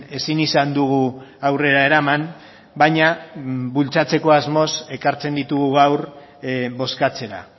ezin izan dugu aurrera eraman baina bultzatzeko asmoz ekartzen ditugu gaur bozkatzera